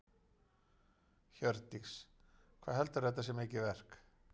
Hjördís: Hvað heldurðu að þetta sé mikið verk?